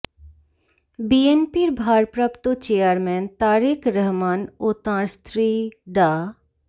বিএনপির ভারপ্রাপ্ত চেয়ারম্যান তারেক রহমান ও তাঁর স্ত্রী ডা